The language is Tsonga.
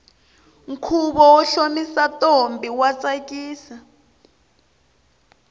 khuvo wo hlomisa ntombi wa tsakisa